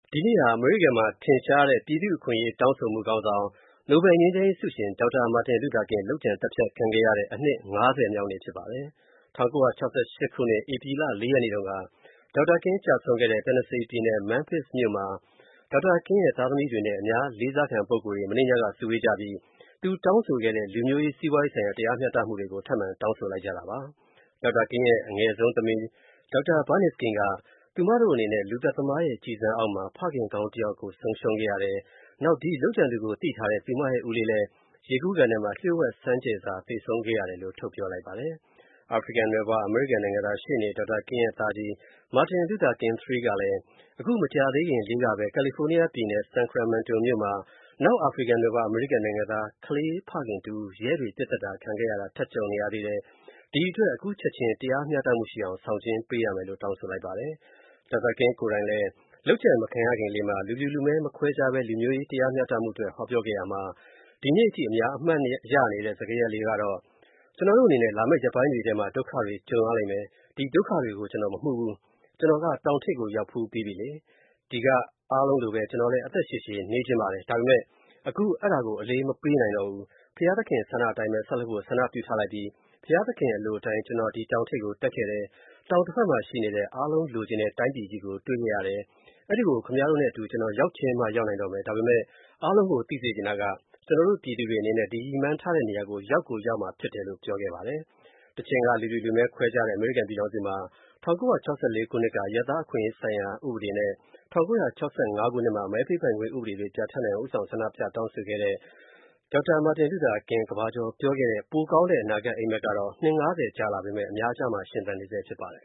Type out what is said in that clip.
ဒီနေ့ဟာ အမေရိကန်မှာ ထင်ရှားတဲ့ နိုင်ငံသား အခွင့်အရေးတောင်းဆိုမှု ခေါင်းဆောင်နိုဘယ်ငြိမ်းချမ်းရေးဆုရှင် Dr. Martin Luther King လုပ်ကြံ သတ်ဖြတ်ခံခဲ့ရတဲ့ အနှစ် ၅၀ မြောက်နေ့ဖြစ်ပါတယ်။ ၁၉၆၈ ခုနှစ် ဧပြီ ၄ ရက်နေ့တုန်းက Dr. King ကျဆုံးခဲ့ရတဲ့ Tennessee ပြည်နယ် Memphis မြို့မှာ Dr. King သားသမီးတွေနဲ့ အများလေးစားခံပုဂ္ဂိုလ်တွေ မနေ့ညက စုဝေးပြီး သူတောင်းဆိုခဲ့တဲ့ လူမျိုးရေး၊ စီးပွားရေးဆိုင်ရာ တရားမျှတမှုတွေကို ထပ်မံတောင်းဆိုလိုက်ကြပါတယ်။ Dr. King ရဲ့ အငယ်ဆုံးသမီး Dr. Bernice King က သူမတို့အနေနဲ့ လူသတ်သမားရဲ့ ကျည်ဆံအောက်မှာ ဖခင်ကောင်းတစ်ယောက်ကို ဆုံးရှုံးခဲ့ရတယ်။ နောက် ဒီလုပ်ကြံသူကို သိထားတဲ့ သူမရဲ့ ဦးလေးလည်း ရေကူးကန်ထဲမှာ လျို.ဝှက်ဆန်းကျယ်စွာ သေဆုံးခဲ့ရတယ်လို့ ထုတ်ပြောလိုက်ပါတယ်။ အာဖရိကန်နွယ်ဖွား အမေရိကန်နိုင်ငံသား ရှေ.နေ Dr. King ရဲ့ သားကြီးMartin Luther King III ကလည်း အခု မကြာသေးခင်လေးကပဲ ကယ်လီဖိုးနီးယားပြည်နယ် Sacramento မြို.မှာနောက် အာဖရိကန်နွယ်ဖွား အမေရိကန်နိုင်ငံသား ကလေးဖခင်တစ်ဦး ရဲတွေ ပစ်သတ်ခံခဲ့ရတာ ထပ်ကြုံနေရသေးတယ်၊ ဒီအတွက် အခုချက်ချင်း တရားမျှတရှိအောင် ဆောင်ကျဉ်းပေးရမယ်လို့ တောင်းဆိုလိုက်ပါတယ်။ Dr. King ကိုယ်တိုင်လဲ လုပ်ကြံမခံရခင်လေးမှာ လူဖြူလူမဲမခွဲခြားပဲ လူမျိုးရေးတရားမျှတမှုအတွက် ဟောပြောခဲ့ရာမှာ ဒီနေ့အထိ အများအမှတ်ရနေတဲ့ စကားရပ်လေးကတော့ - “ ကျွန်တော်တို့အနေနဲ့ လာမဲ့ရက်ပိုင်းတွေထဲ ဒုက္ခတွေကြုံရလိမ့်မယ်၊ ဒီဒုက္ခတွေကို ကျွန်တော်မမှုဘူး၊ ကျွန်တော်က တောင်ထိပ်ကိုရောက်ဖူးပြီးပြီလေ။ ဒီကအားလုံးလိုပဲ ကျွန်တော်လဲ အသက်ရှည်ရှည်နေချင်ပါတယ်။ ဒါပေမဲ့ အခု အဲ့ဒါကို အလေးမပေးနိုင်တော့ဘူး။ ဘုရားသခင်ဆန္ဒအတိုင်းပဲ ဆက်လုပ်ဖို့ ဆန္ဒပြုထားလိုက်ပြီ၊ ဘုရားသခင်အလိုအတိုင်း ကျွန်တော် ဒီတောင်ထိပ်ကို တက်ခဲ့တယ်၊ တောင်တဖက်မှာရှိနေတဲ့ အားလုံးလိုချင်တဲ့တိုင်းပြည်ကြီးကို တွေ့ခဲ့တယ်၊ အဲ့ဒိကို ခင်ဗျားတို့နဲ့အတူ ကျွန်တော် ရောက်ချင်မှရောက်နိုင်တော့မယ်။ ဒါပေမဲ့ အားလုံးကို သိစေချင်တာက ကျွန်တာ်တို့ ပြည်သူတွေနေနဲ့ဒီရည်မှန်းထားတဲ့နေရာကို ရောက်ကိုရောက်ရမှာဖြစ်တယ်” လို့ ပြောခဲ့ပါတယ်။ တချိန်က လူဖြူ လူမည်းခွဲခြားခဲ့တဲ့ အမေရိကန်ပြည်ထောင်စုမှာ ၁၉၆၄ ခုနှစ်က အရပ်သားအခွင့်အရေးဆိုင်ရာ ဥပဒေနဲ့ ၁၉၆၅ ခုနှစ်မှာ မဲပေးပိုင်ခွင့်ဥပဒေတွေ ပြဌာန်နိုင်အောင် ဦးဆောင် ဆန္ဒပြတောင်းဆိုခဲ့တဲ့ Martin Luther King ကမ္ဘာကျော် ပြောခဲ့တဲ့ ပိုကောင်းတဲ့အနာဂတ်အိမ်မက်ကတော့ နှစ် (၅၀) ကြာလာခဲ့ပေမဲ့ အများကြားမှာ ရှင်သန်နေဆဲဖြစ်ပါတယ်။